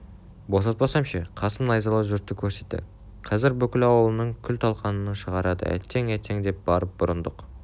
босатпасам ше қасым найзалы жұртты көрсетті қазір бүкіл аулыңның күл-талқанын шығарады әттең әттең деп барып бұрындық